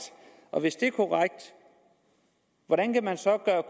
og hvis det er korrekt hvordan kan man så gøre